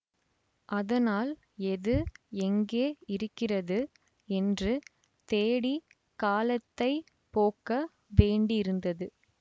அதனால் எது எங்கே இருக்கிறது என்று தேடிக் காலத்தை போக்க வேண்டியிருந்தது